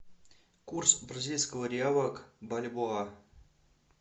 курс бразильского реала к бальбоа